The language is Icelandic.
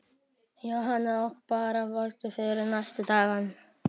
Jóhanna: Og bara vongóð fyrir næstu dagana?